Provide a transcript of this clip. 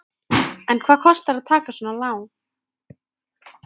En hvað kostar að taka svona lán?